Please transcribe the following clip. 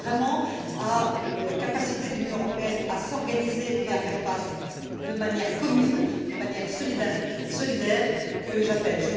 C'est donc vraiment à une capacité de l'Union européenne à s'organiser et à faire face de manière commune, de manière solidaire, que j'appelle.